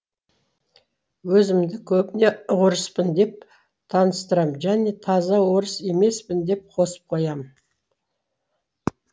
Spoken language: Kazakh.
өзімді көбіне орыспын деп таныстырам және таза орыс емеспін деп қосып қоям